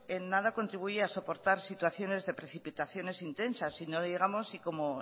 en nada contribuye a soportar situaciones de precipitaciones intensas y no digamos si como